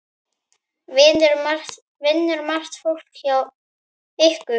Vinnur margt fólk hjá ykkur?